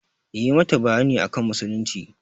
Yi mata bayani akan musulunci!